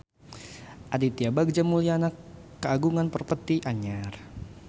Aditya Bagja Mulyana kagungan properti anyar